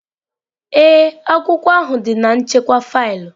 Ee, akwụkwọ ahụ dị na nchekwa faịlụ